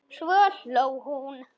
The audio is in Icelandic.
Svo hló hún.